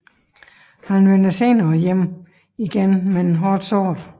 Han vender senere hjem igen hårdt såret